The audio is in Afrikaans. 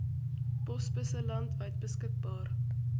posbusse landwyd beskikbaar